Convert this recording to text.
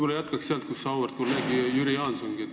Ma jätkaks sealt, kus auväärt kolleeg Jüri Jaanson lõpetas.